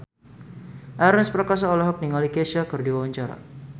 Ernest Prakasa olohok ningali Kesha keur diwawancara